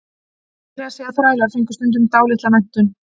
Meira að segja þrælar fengu stundum dálitla menntun.